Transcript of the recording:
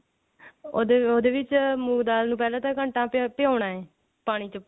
ਉਹਦੇ ਉਹਦੇ ਵਿੱਚ ਮੂੰਗ ਦਾਲ ਨੂੰ ਪਹਿਲਾਂ ਤਾਂ ਘੰਟਾ ਭਿਓਨਾ ਪਾਣੀ ਚ